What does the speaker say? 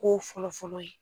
k'o fɔlɔfɔlɔ ye.